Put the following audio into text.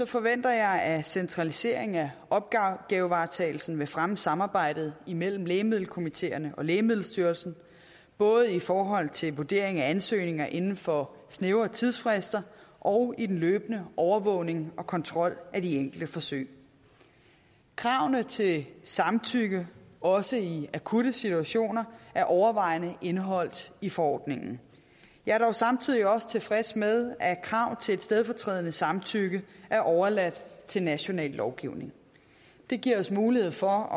forventer jeg at centraliseringen af opgavevaretagelsen vil fremme samarbejdet imellem lægemiddelkomiteerne og lægemiddelstyrelsen både i forhold til vurderingen af ansøgninger inden for snævre tidsfrister og i den løbende overvågning af og kontrol med de enkelte forsøg kravene til samtykke også i akutte situationer er overvejende indeholdt i forordningen jeg er dog samtidig også tilfreds med at krav til et stedfortrædende samtykke er overladt til national lovgivning det giver os mulighed for